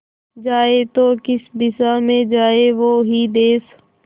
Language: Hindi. जाए तो किस दिशा में जाए वो ही देस